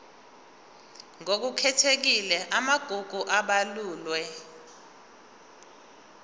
ngokukhethekile amagugu abalulwe